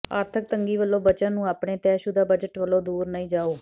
ਆਰਥਕ ਤੰਗੀ ਵਲੋਂ ਬਚਨ ਨੂੰ ਆਪਣੇ ਤੈਅਸ਼ੁਦਾ ਬਜਟ ਵਲੋਂ ਦੂਰ ਨਹੀਂ ਜਾਓ